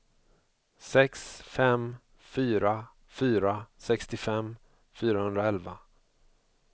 sex fem fyra fyra sextiofem fyrahundraelva